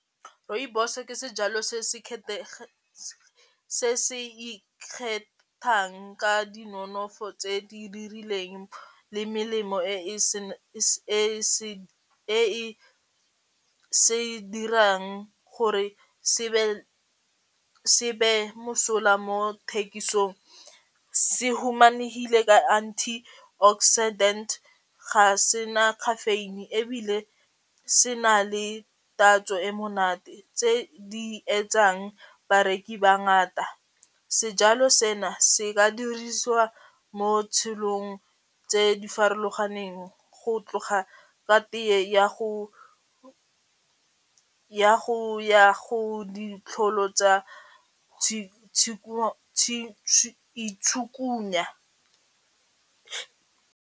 Rooibos ke sejalo se se se se ikgethang ka dinonofo tse di dirileng le melemo e e se dirang gore se be mosola mo thekisong, se humanehile ka anti-oxidant ga se na caffeine ebile se na le tatso e monate tse di etsang bareki ba ngata. Sejalo sena se ka dirisiwa mo tshilong tse di farologaneng go tloga ke tee ya go itshukanya.